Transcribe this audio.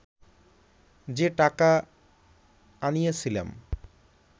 যে টাকা আনিয়াছিলাম